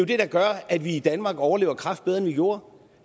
det der gør at vi i danmark overlever kræft bedre end vi gjorde